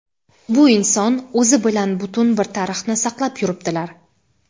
bu inson o‘zi bilan butun bir tarixni saqlab yuribdilar.